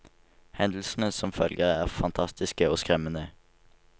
Hendelsene som følger er fantastiske og skremmende.